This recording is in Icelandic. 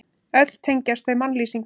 Öll tengjast þau mannlýsingum.